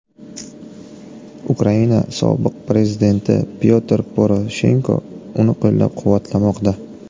Ukraina sobiq prezidenti Pyotr Poroshenko uni qo‘llab-quvvatlamoqda.